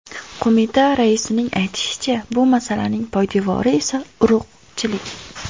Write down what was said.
Qo‘mita raisining aytishicha, bu masalaning poydevori esa – urug‘chilik.